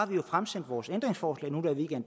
vi har fremsendt vores ændringsforslag nu hvor vi ikke